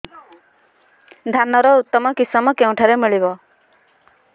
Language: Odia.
ଧାନର ଉତ୍ତମ କିଶମ କେଉଁଠାରୁ ମିଳିବ